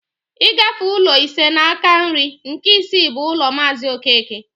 I gafee ụlọ ise n'aka nri, nke isii bụ ụlọ maazi okeke